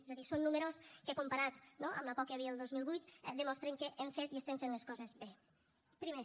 és a dir són números que comparats no amb la por que hi havia el dos mil vuit demostren que hem fet i fem les coses bé primer